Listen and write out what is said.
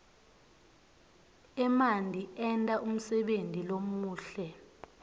emanti enta umsebenti lomuhle